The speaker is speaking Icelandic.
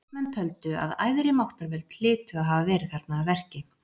Landsmenn töldu að æðri máttarvöld hlytu að hafa verið þarna að verki.